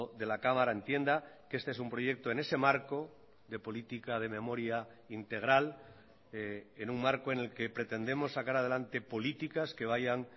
de la cámara entienda que este es un proyecto en ese marco de política de memoria integral en un marco en el que pretendemos sacar adelante políticas que vayan